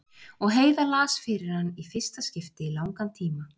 Og Heiða las fyrir hann í fyrsta skipti í langan tíma.